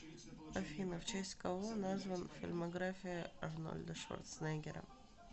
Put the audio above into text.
афина в честь кого назван фильмография арнольда шварценеггера